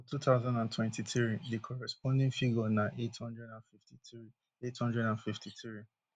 for two thousand and twenty-three di corresponding figure na eight hundred and fifty-three eight hundred and fifty-three